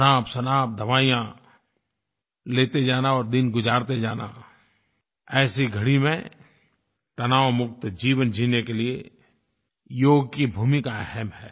अनापशनाप दवाइयाँ लेते जाना और दिन गुज़ारते जाना ऐसी घड़ी में तनावमुक्त जीवन जीने के लिए योग की भूमिका अहम है